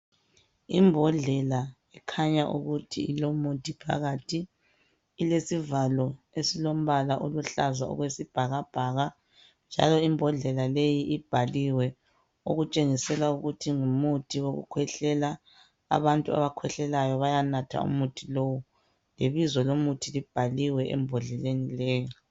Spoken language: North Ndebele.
Imbodlela ekhanya ukuthi ilomuthi phakathi ilesivalo esilombala oluhlaza okwesibhakabhaka njalo imbodlela leyi ibhaliwe okutshengisela ukuthi ngumuthi wokukhwehlela abantu abakhwehlelayo bayanatha umuthi lowu lebizo lomuthi libhaliwe embodleleni leyi.